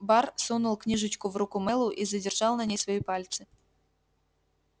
бар сунул книжечку в руку мэллоу и задержал на ней свои пальцы